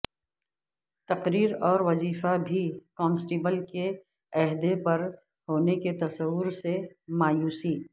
تقرر اور وظیفہ بھی کانسٹبل کے عہدہ پر ہونے کے تصور سے مایوسی